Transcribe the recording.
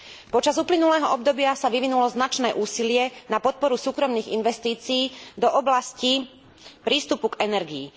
Počas uplynulého obdobia sa vyvinulo značné úsilie na podporu súkromných investícií do oblasti prístupu k energii.